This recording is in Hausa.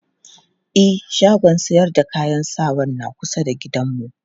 E, shagon sayar da kayan sawan na kusa da gidanmu.